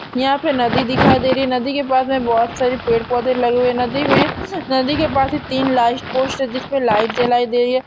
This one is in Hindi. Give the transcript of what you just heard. यहां पे नदी दिखाई दे रही है नदी के पास में बहुत सारे पेड़-पौधे लगे हुए है नदी में नदी के पास में तीन जिसमे लाइट जलाई दे रही है।